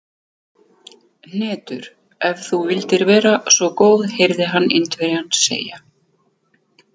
Hnetur, ef þú vildir vera svo góð heyrði hann Indverjann segja.